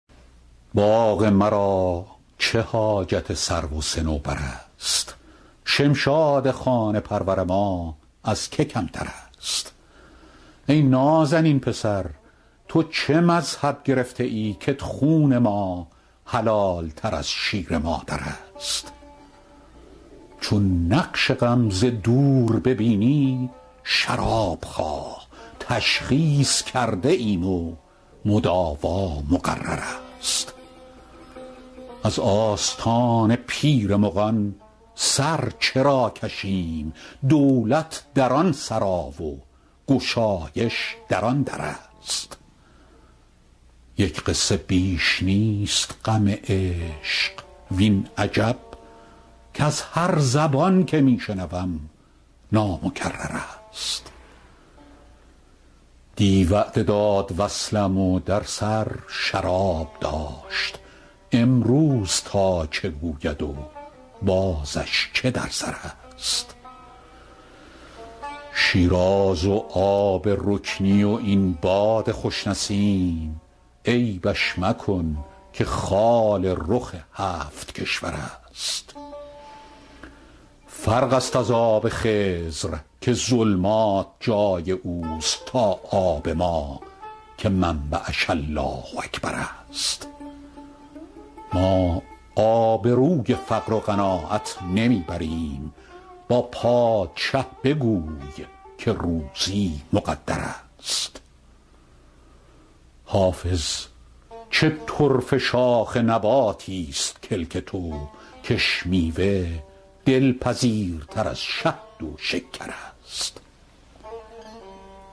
باغ مرا چه حاجت سرو و صنوبر است شمشاد خانه پرور ما از که کمتر است ای نازنین پسر تو چه مذهب گرفته ای کت خون ما حلال تر از شیر مادر است چون نقش غم ز دور ببینی شراب خواه تشخیص کرده ایم و مداوا مقرر است از آستان پیر مغان سر چرا کشیم دولت در آن سرا و گشایش در آن در است یک قصه بیش نیست غم عشق وین عجب کز هر زبان که می شنوم نامکرر است دی وعده داد وصلم و در سر شراب داشت امروز تا چه گوید و بازش چه در سر است شیراز و آب رکنی و این باد خوش نسیم عیبش مکن که خال رخ هفت کشور است فرق است از آب خضر که ظلمات جای او است تا آب ما که منبعش الله اکبر است ما آبروی فقر و قناعت نمی بریم با پادشه بگوی که روزی مقدر است حافظ چه طرفه شاخ نباتیست کلک تو کش میوه دلپذیرتر از شهد و شکر است